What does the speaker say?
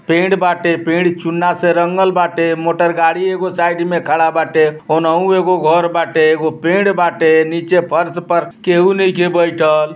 पेड़ बाटे पेड चुन्ना से रंगल बाटे मोटरगाड़ी एगो साइड में खड़ा बाटे। होनहू एगो घर बाटे एगो पेड़ बाटे। नीचे फर्श पर केहु नाइखे बइठल।